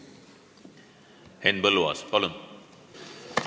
Henn Põlluaas, palun!